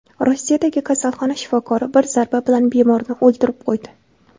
Rossiyadagi kasalxona shifokori bir zarba bilan bemorni o‘ldirib qo‘ydi .